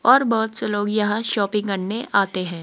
और बहुत से लोग यहां शॉपिंग करने आते हैं।